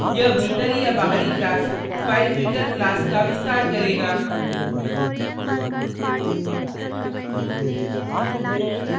यह भीतरी या बाहरी class filefilter class का विस्तार करेगा